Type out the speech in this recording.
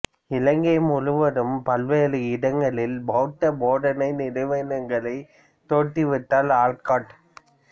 இலங்கை முழுவதும் பல்வேறு இடங்களில் பௌத்த போதனை நிறுவனங்களை தோற்றுவித்தார் ஆல்காட்